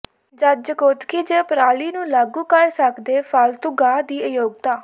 ਜਦ ਜਕੋਤਕੀ ਜ ਪਰਾਲੀ ਨੂੰ ਲਾਗੂ ਕਰ ਸਕਦੇ ਫਾਲਤੂਗਾਹ ਦੀ ਅਯੋਗਤਾ